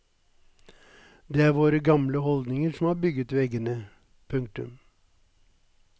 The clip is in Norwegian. Det er våre gamle holdninger som har bygget veggene. punktum